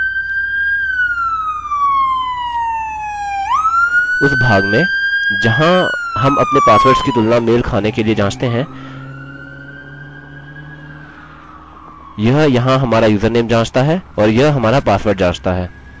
उस भाग में जहाँ हम अपने पासवर्ड्स की तुलना मेल खाने के लिए जाँचते हैं यह यहाँ हमारा username जाँचता है और यह हमारा पासवर्ड जाँचता है